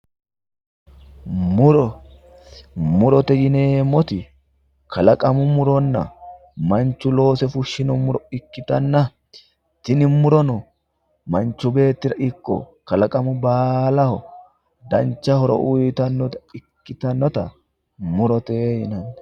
muro murote yineemmoti kalaqamu muronna manchu loose fushshino ikkitanna tini murono manchu beettira ikko kalaqamu baalira dancho horo uyiitannota ikkitinota murote yinanni,